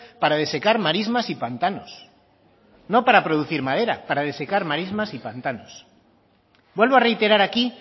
para desecar marismas y pantanos no para producir madera para desecar marismas y pantanos vuelvo a reiterar aquí